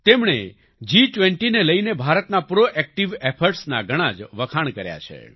તેમણે જી20ને લઈને ભારતના પ્રોએક્ટિવ ઇફોર્ટ્સ ના ઘણા જ વખાણ કર્યા છે